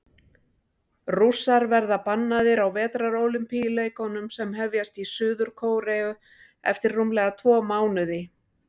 Rússar verða bannaðir á Vetrarólympíuleikunum sem hefjast í Suður-Kóreu eftir rúmlega tvo mánuði.